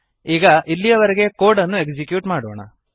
ಈಗ ಇಲ್ಲಿಯವರೆಗೆ ಕೋಡ್ ಅನ್ನು ಎಕ್ಸಿಕ್ಯೂಟ್ ಮಾಡೋಣ